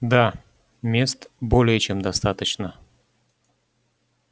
да мест более чем достаточно